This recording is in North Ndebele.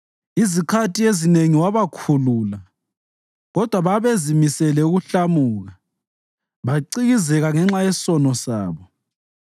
Izikhathi ezinengi wabakhulula, kodwa babezimisele ukuhlamuka bacikizeka ngenxa yesono sabo.